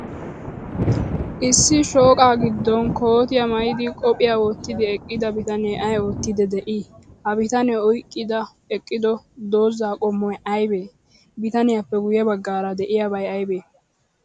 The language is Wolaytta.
Issi shooqaa giddon kootiyaa maayidi, qophiya wottidi eqqida bitanee ay oottiiddi de'ii? Ha bitanee oyqqidi eqqido dozaa qommoy aybee? Bitaniyaappe guyye baggaara de'iyaabay aybee?